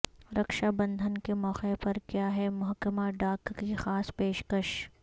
رکشا بندھن کے موقع پر کیا ہے محکمہ ڈاک کی خاص پیشکش